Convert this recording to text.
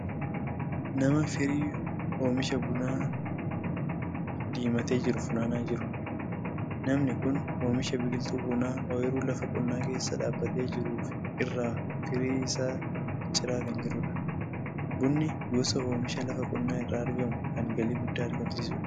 Nama firii oomisha bunaa diimatee jiru funaanaa jiru. Namni kun oomisha biqiltuu bunaa ooyiruu lafa qonnaa keessa dhaabbatee jiru irraa firii isaa ciraa kan jirudha. Bunni gosa oomishaa lafa qonnaa irraa argamu kan galii guddaa argamsiisudha.